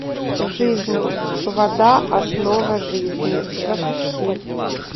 жизнь вода основа жизни запусти